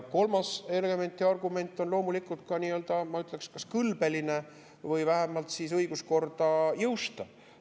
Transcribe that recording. Kolmas element ja argument on, ma ütleksin, kas kõlbeline või vähemalt siis õiguskorda jõustav.